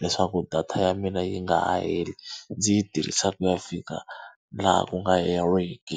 leswaku data ya mina yi nga ha heli. Ndzi yi tirhisa ku ya fika laha ku nga heriki.